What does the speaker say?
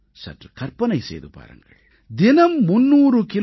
சற்றுக் கற்பனை செய்து பாருங்கள் தினம் 300 கி